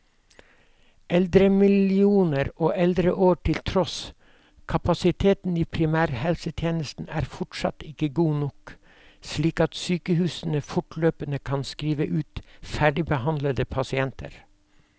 Eldremillioner og eldreår til tross, kapasiteten i primærhelsetjenesten er fortsatt ikke god nok, slik at sykehusene fortløpende kan skrive ut ferdigbehandlede pasienter.